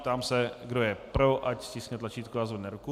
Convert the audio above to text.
Ptám se, kdo je pro, ať stiskne tlačítko a zvedne ruku.